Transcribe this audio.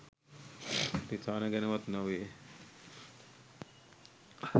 රිසානා ගැන වත් නොවේ.